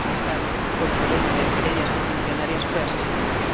además de estar con el problema de querellas multimillonarias fue asesinada.